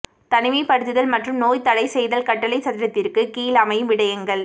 தனிமைப்படுத்தல் மற்றும் நோய் தடை செய்தல் கட்டளை சட்டத்திற்கு கீழ் அமையும் விடயங்கள்